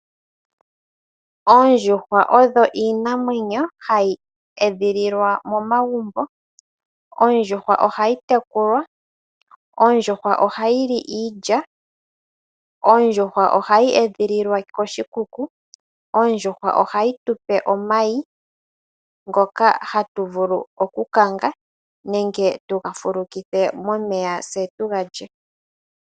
Oondjuhwa odho iinamwenyo edhililwa momagumbo. Ondjuhwa ohayi tekulwa. Ondjuhwa ohayi li iilya. Ondjuhwa ohayi edhililwa koshikuku. Ondjuhwa ohayi tu pe omayi ngoka hatu vulu okukanga nenge tu ga fulukithe momeya tse tu ga lye.